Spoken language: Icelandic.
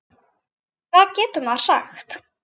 Hvað getur maður sagt?